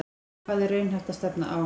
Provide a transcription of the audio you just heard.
Hvað er raunhæft að stefna á?